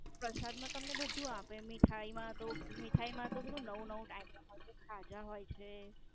પ્રસાદ માં તમને બધું જ આપે. મીઠાઈ માં તો મીઠાઈ માં તો પેલું નવું નવું Item મો જે ખાતા હોય છે.